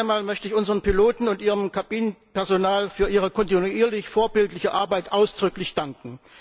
Zuerst einmal möchte ich unseren Piloten und ihrem Kabinenpersonal für ihre kontinuierlich vorbildliche Arbeit ausdrücklich danken!